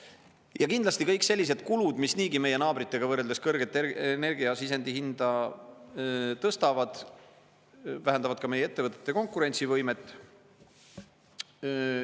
Ja kindlasti kõik sellised kulud, mis niigi meie naabritega võrreldes kõrget energiasisendi hinda tõstavad, vähendavad ka meie ettevõtete konkurentsivõimet.